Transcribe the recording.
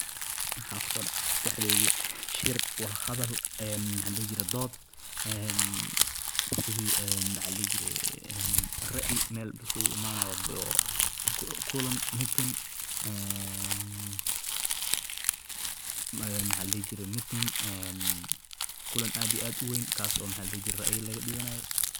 waaxa ku soo dhacaday maskaxdaydi shiir wadha hadhal ee dood een sidhee ee maxa ladihi jire raai mel la iskuugu iimanayo oo kulaan Meeting een waxa ladihi jire Meeting een kulaan aad iyo aad uweyn kaaso maxa ladihi jire